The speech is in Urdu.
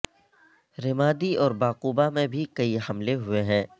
رمادی اور بعقوبہ میں بھی کئی حملے ہوئے ہیں